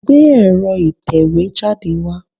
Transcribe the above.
Gbé ẹ̀rọ ìtẹ̀wẹ́ jáde wá.